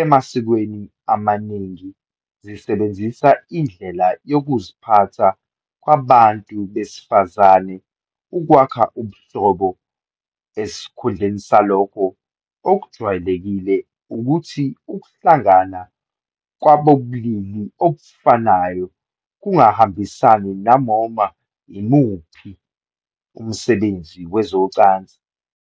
emasikweni amaningi zisebenzisa indlela yokuziphatha kwabantu besifazane ukwakha ubuhlobo, esikhundleni salokho, okujwayelekile ukuthi ukuhlangana kwabobulili obufanayo kungahambisani nanoma yimuphi umsebenzi wezocansi.